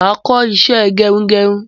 Máa kọ́ isẹ́ gerugeru